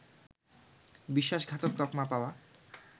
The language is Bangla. বিশ্বাসঘাতক তকমা পাওয়া